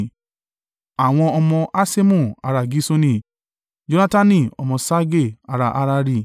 Àwọn ọmọ Haṣemu ará Gisoni Jonatani ọmọ Ṣage ará Harari.